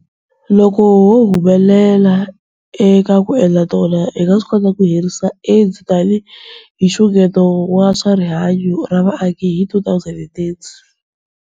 Loko ho humelela eka ku endla tano, hi nga swi kota ku herisa AIDS tanihi nxungeto wa swa rihanyu ra vaaki hi 2030.